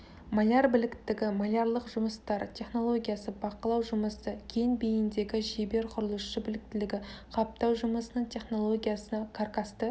маляр біліктілігі малярлық жұмыстар технологиясы бақылау жұмысы кең бейіндегі шебер құрылысшы біліктілігі қаптау жұмысының технологиясы каркасты